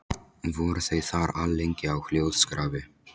Voru þau þar alllengi á hljóðskrafi.